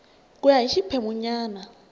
ku ya hi xiphemu nyana